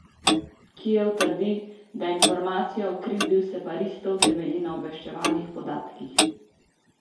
Kijev trdi, da informacija o krivdi separatistov temelji na obveščevalnih podatkih.